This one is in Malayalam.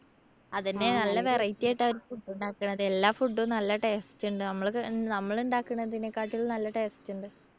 അതന്നെ നല്ല variety ആയിട്ടാ അവർ food ഉണ്ടാക്കണത്. എല്ലാ food ഉം നല്ല taste ഇണ്ട്. നമ്മള് നമ്മളിണ്ടാക്കണതിനെക്കാട്ടും നല്ല taste ഇണ്ട്.